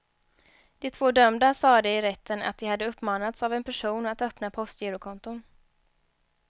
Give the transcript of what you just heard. De två dömda sade i rätten att de hade uppmanats av en person att öppna postgirokonton.